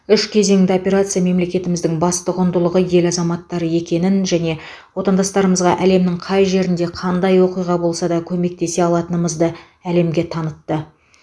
үш кезеңді операция мемлекетіміздің басты құндылығы ел азаматтары екенін және отандастарымызға әлемнің қай жерінде қандай оқиға болса да көмектесе алатынымызды әлемге танытты